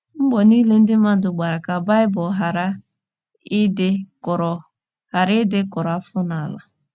Mbọ niile ndị mmadụ gbara ka Baịbụl ghara ịdị kụrụ ghara ịdị kụrụ afọ n’ala.